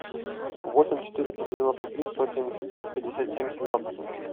восемь четыреста девяносто три сто семьдесят пять пятьдесят семь семнадцать